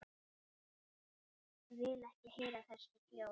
Vil ekki heyra þessi hljóð.